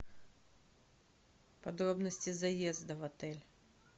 подробности заезда в отель